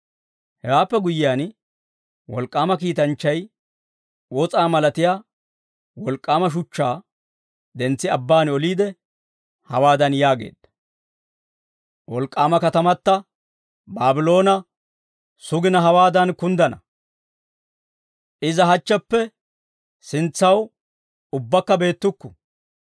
Hewaappe guyyiyaan, wolk'k'aama kiitanchchay, wos'aa malatiyaa wolk'k'aama shuchchaa, dentsi abbaan oliide hawaadan yaageedda; «Wolk'k'aama katamata, Baabloona, sugina hawaadan kunddana; iza hachcheppe sintsaw, ubbaakka beettukku.